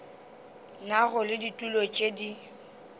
nago le ditulo tše di